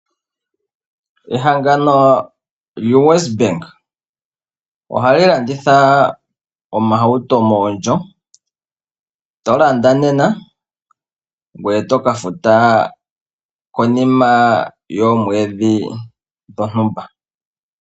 Ehangano lyoWESBANK, ohali landitha oohauto mondjo, to landa nena, ngoye toka futa konima yoomwedhi dhontumba.